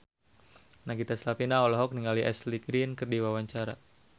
Nagita Slavina olohok ningali Ashley Greene keur diwawancara